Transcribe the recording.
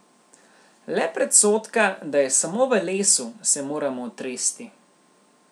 Le predsodka, da je samo v lesu, se moramo otresti.